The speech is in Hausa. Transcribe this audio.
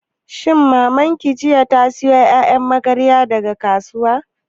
Shin jiya Maman ki ta sayo ƴaƴan magaryan daga kasuwa?